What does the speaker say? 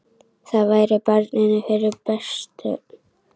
Það væri barninu fyrir bestu.